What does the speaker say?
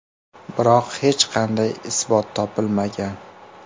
Biroq hech qanday isbot topilmagan.